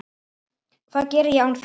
Hvað geri ég án þín?